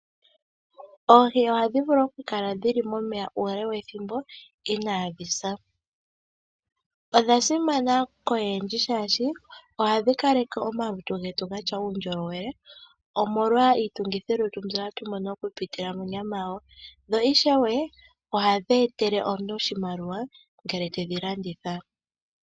Oohi ohadhi vulu okukala mo meya uule we thimbo inadhi sa. Odha simana koyendji shashi ohadhi kaleke omalutu getu gatya uundjolowele omolwa iitungithilutu mbyoka hatu mono okupitila monyama yawo, no ishewe ohadhi etele omuntu oshimaliwa ngele te dhi landitha.